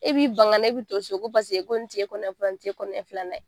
E b'i ban ka na e bɛ to so ko ko nin tɛ e kɔnɔɲɛ fɔlɔ ye nin tɛ e kɔnɔɲɛ filanan ye